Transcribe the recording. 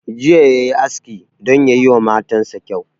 Jiya yayi aski don yayi wa matan sa kyau